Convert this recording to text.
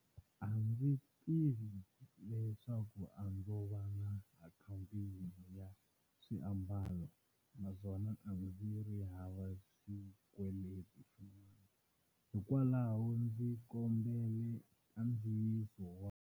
A ndzi tiva leswaku a ndzo va na akhawunti yin'we ya swiambalo naswona a ndzi ri hava xikweleti xin'wana, hikwalaho ndzi kombele nkandziyiso wa.